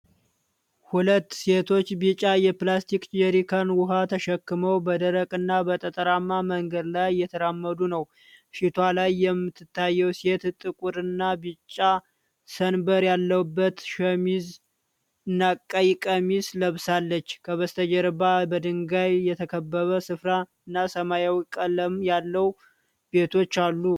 ሁለት ሴቶች ቢጫ የፕላስቲክ ጀሪካን ውሃ ተሸክመው በደረቅና በጠጠራማ መንገድ ላይ እየተራመዱ ነው። ፊቷ ላይ የምትታየው ሴት ጥቁርና ቢጫ ሰንበር ያለበት ሸሚዝ እና ቀይ ቀሚስ ለብሳለች። ከበስተጀርባ በድንጋይ የተከበበ ስፍራና ሰማያዊ ቀለም ያላቸው ቤቶች አሉ።